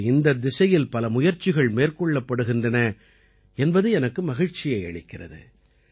இன்று இந்தத் திசையில் பல முயற்சிகள் மேற்கொள்ளப்படுகின்றன என்பது எனக்கு மகிழ்ச்சியை அளிக்கிறது